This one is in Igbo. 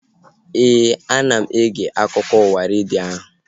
Éè, ana m ege akụkọ ụwa redio ahu